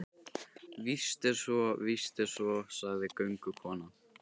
Víst er svo, víst er svo, sagði göngukonan.